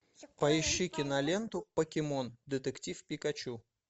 поищи киноленту покемон детектив пикачу